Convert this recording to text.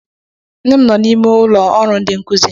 Nne m nọ na ime ụlọ ọrụ ndi nkuzi.